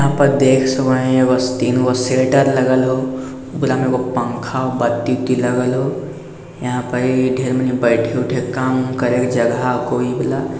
यहाँ पर देख सको एगो तीन गो शटर लागल हउ। ओकरा में एगो पंखा बत्ती की लगल हउ। यहाँ पर ई ढ़ेर मानी बैठे उठे के काम करे के जगह कोई वला --